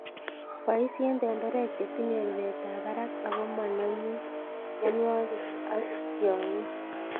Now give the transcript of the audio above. Boisien tenderek chetinye ruretab barak ako monomin mionwokik ak tiong'ik.